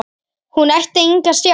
Hún ætti enga sjálf.